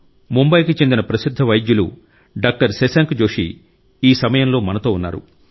ముంబాయికి చెందిన ప్రసిద్ధ వైద్యులు డాక్టర్ శశాంక్ జోషి ఈ సమయంలో మనతో ఉన్నారు